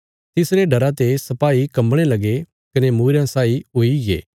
तिसरे डरा ते सपाई कम्बणे लगे कने मूईरयां साई हुईगे